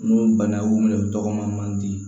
N'o ye bana b'o minɛ o tɔgɔma man di